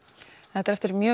þetta er eftir